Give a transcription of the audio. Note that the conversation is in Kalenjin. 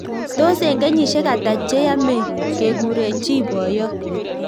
Tos eng keshisiek ataa cheyamee keguree chii boyoo